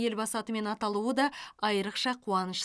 елбасы атымен аталуы да айрықша қуаныш